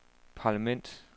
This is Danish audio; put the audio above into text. parlament